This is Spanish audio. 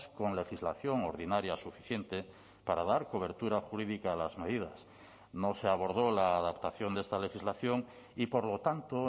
con legislación ordinaria suficiente para dar cobertura jurídica a las medidas no se abordó la adaptación de esta legislación y por lo tanto